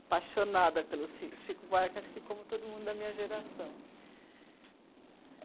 apaixonada pelo Chico Buarque, acho que como todo mundo da minha geração.